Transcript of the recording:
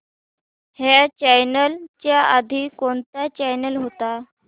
ह्या चॅनल च्या आधी कोणता चॅनल होता